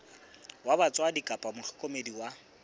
wa batswadi kapa mohlokomedi wa